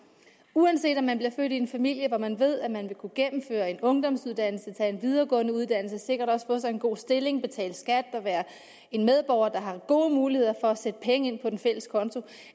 uanset om man bliver født i en familie hvor man ved at man vil kunne gennemføre en ungdomsuddannelse tage en videregående uddannelse og sikkert også få sig en god stilling betale skat og være en medborger der har gode muligheder for at sætte penge ind på den fælles konto